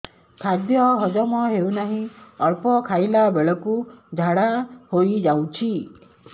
ଖାଦ୍ୟ ହଜମ ହେଉ ନାହିଁ ଅଳ୍ପ ଖାଇଲା ବେଳକୁ ଝାଡ଼ା ହୋଇଯାଉଛି